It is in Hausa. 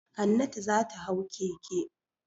Hannatu za ta hau keke.